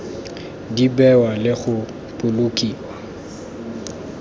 di bewa le go bolokiwa